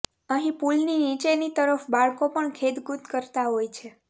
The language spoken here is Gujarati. અહીં પુલની નીચેની તરફ બાળકો પણ ખેલકુદ કરતા હોય છે